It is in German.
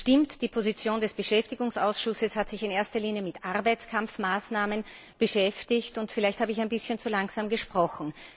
Es stimmt, die Position des Ausschusses für Beschäftigung hat sich in erster Linie mit Arbeitskampfmaßnahmen beschäftigt, und vielleicht habe ich ein bisschen zu langsam gesprochen.